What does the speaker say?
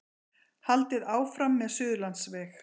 Haldið áfram með Suðurlandsveg